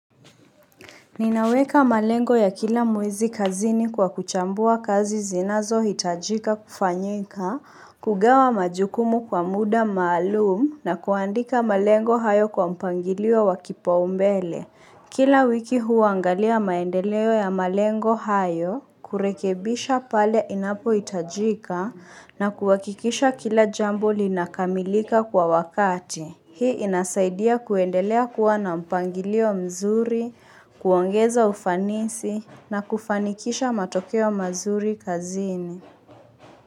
Ninaweka malengo ya kila mwezi kazini kwa kuchambua kazi zinazohitajika kufanyika, kugawa majukumu kwa muda maalumu na kuandika malengo hayo kwa mpangilio wa kipaumbele. Kila wiki huangalia maendeleo ya malengo hayo, kurekebisha pale inapohitajika na kuhakikisha kila jambo linakamilika kwa wakati. Hii inasaidia kuendelea kuwa na mpangilio mzuri, kuongeza ufanisi na kufanikisha matokeo mazuri kazini.